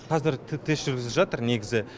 қазір тест жүргізіліп жатыр негізі